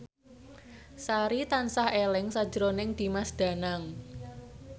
Sari tansah eling sakjroning Dimas Danang